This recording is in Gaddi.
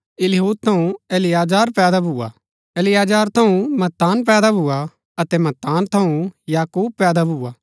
इलीहूद थऊँ इलियाजार पैदा भुआ इलियाजार थऊँ मत्तान पैदा भुआ अतै मत्तान थऊँ याकूब पैदा भुआ